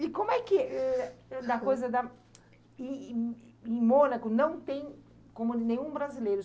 E como é que, da coisa da... E em em Mônaco não tem como nenhum brasileiro.